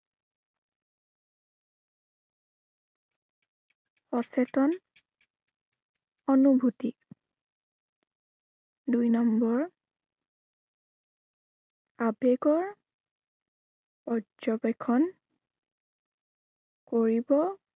অচেতন অনুভূতি দুই number আবেগৰ পৰ্যবেক্ষণ কৰিব